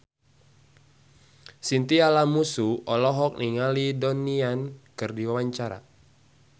Chintya Lamusu olohok ningali Donnie Yan keur diwawancara